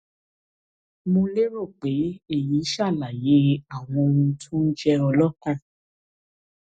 mo lérò pe eyi ṣalaye awọn ohun tó ń jẹ ọọ lọkàn